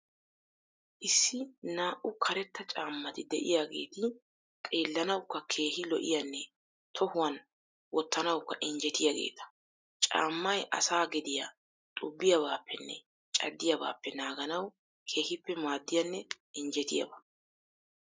Issi naa"u karetta caammati de'iyageeti xeellanawukka keehi lo'iyanne tohuwan wottanawukk injjetiyageeta. Caammay asaa gediya xubbiyabaappenne caddiyabaappe naaganawu keehippe maaddiyanne injjetiyaba.